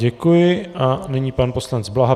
Děkuji a nyní pan poslanec Blaha.